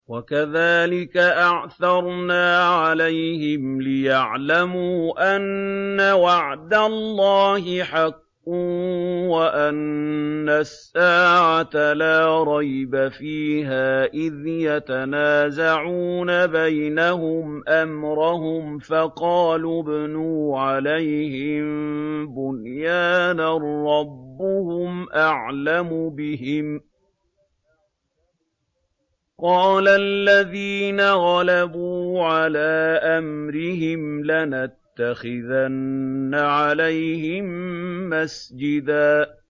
وَكَذَٰلِكَ أَعْثَرْنَا عَلَيْهِمْ لِيَعْلَمُوا أَنَّ وَعْدَ اللَّهِ حَقٌّ وَأَنَّ السَّاعَةَ لَا رَيْبَ فِيهَا إِذْ يَتَنَازَعُونَ بَيْنَهُمْ أَمْرَهُمْ ۖ فَقَالُوا ابْنُوا عَلَيْهِم بُنْيَانًا ۖ رَّبُّهُمْ أَعْلَمُ بِهِمْ ۚ قَالَ الَّذِينَ غَلَبُوا عَلَىٰ أَمْرِهِمْ لَنَتَّخِذَنَّ عَلَيْهِم مَّسْجِدًا